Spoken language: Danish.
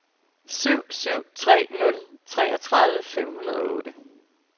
syv syv tre nul treogtredive fem hundrede og otte